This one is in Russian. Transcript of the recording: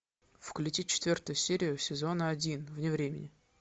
включи четвертую серию сезона один вне времени